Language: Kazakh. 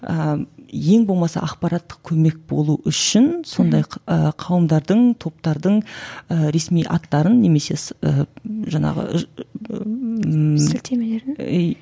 ыыы ең болмаса ақпараттық көмек болу үшін сондай ы қауымдардың топтардың ыыы ресми аттарын немесе ыыы жаңағы сілтемелерін